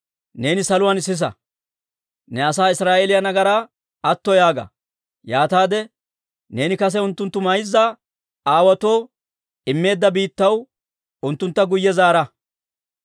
neeni saluwaan sisa. Ne asaa Israa'eeliyaa nagaraa atto yaaga; yaataade neeni kase unttunttu mayza aawaatoo immeedda biittaw unttuntta guyye zaara.